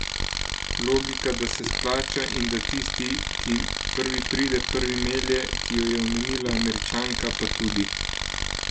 Logika, da se splača in da tisti, ki prvi pride, prvi melje, ki jo je omenila Američanka, pa tudi.